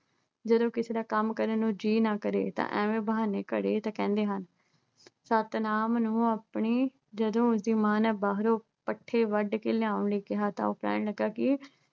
ਜਦੋਂ ਕਿਸੇ ਦਾ ਕੰਮ ਕਰਨ ਨੂੰ ਜੀਅ ਨਾ ਕਰੇ ਤਾਂ ਐਵੇਂ ਬਹਾਨੇ ਕਰੇ ਤਾਂ ਕਹਿੰਦੇ ਹਨ। ਸਤਿਨਾਮ ਨੂੰ ਆਪਣੀ ਜਦੋਂ ਬਾਹਰੋਂ ਪੱਠੇ ਵੱਡ ਕੇ ਲਿਆਉਣ ਲਈ ਕਿਹਾ ਤਾਂ ਉਹ ਕਹਿਣ ਲੱਗਾ ਕਿ